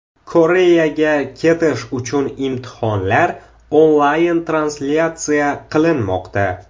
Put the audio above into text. Koreyaga ketish uchun imtihonlar onlayn translyatsiya qilinmoqda.